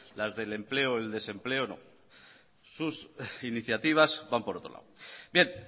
las del empleo el desempleo no sus iniciativas van por otro lado bien